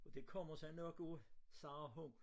Og det kommer sig nok af sagde hun